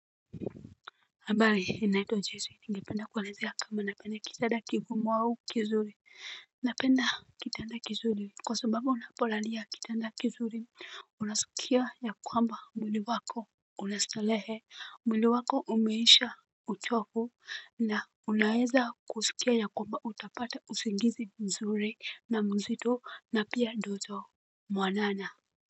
Habari ninaitwa joyce ninge penda kuelezea kama napenda kitanda kigumu au kizuri. Napenda kitada kizuri kwa sababu unapolalia kitanda kizuri. Unasikia ya kwamba mwili wako una starehe mwili wako umeisha uchovu na unaweza kusikia ya kwamba utapata usigizi mzuri na mzito na pia ndoto mwanana.